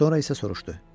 Sonra isə soruşdu: